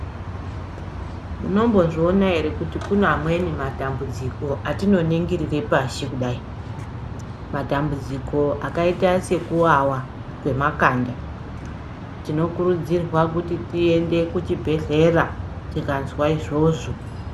Munombozviona here kuti kune amweni matambudziko atinoningirire pashi kudai, madambudziko akaita sekuwawa kwemakanda tinokurudzirwa kuti tiende kuchibhedhlera kana tikanzwa izvozvo